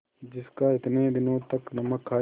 जिसका इतने दिनों तक नमक खाया